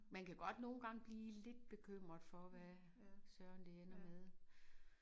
Men kan godt nogle gange blive lidt bekymret for hvad Søren det ender med